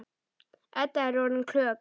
Edda er orðin klökk.